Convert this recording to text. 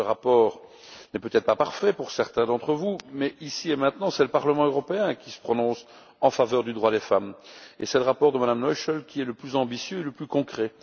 Ce rapport n'est peut être pas parfait pour certains d'entre vous mais, ici et maintenant, c'est le Parlement européen qui se prononce en faveur du droit des femmes et c'est le rapport de Mme Noichl qui est le plus ambitieux et le plus concret.